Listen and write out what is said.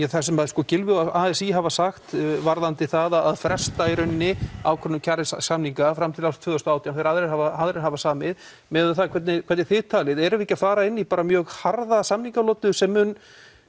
það sem Gylfi og a s í hafa sagt varðandi það að fresta í rauninni ákvörðun kjarasamninga fram til ársins tvö þúsund og átján þegar aðrir hafa aðrir hafa samið miðað við það hvernig hvernig þið talið erum við ekki að fara inn í mjög harða samningalotu sem mun